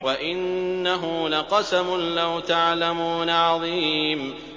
وَإِنَّهُ لَقَسَمٌ لَّوْ تَعْلَمُونَ عَظِيمٌ